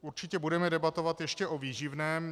Určitě budeme debatovat ještě o výživném.